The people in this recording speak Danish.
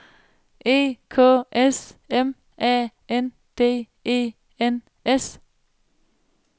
E K S M A N D E N S